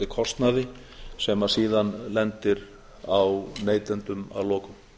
tilheyrandi kostnaði sem síðan lendir á neytendum að lokum